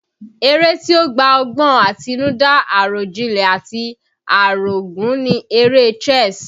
Eré tí ó gba ọgbọ́n àtinúdá, àròjinlẹ̀ àti àrògún ni eré chess